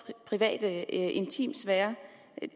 private intimsfære